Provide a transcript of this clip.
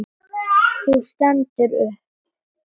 Þú stendur upp.